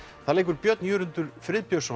þar leikur Björn Jörundur Friðbjörnsson